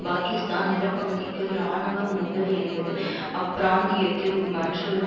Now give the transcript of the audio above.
பாக்கிஸ்தான் நிலப்பகுதிக்குள் இராணுவ மோதல் என்பது அப்பிராந்தியத்தில் மற்றொரு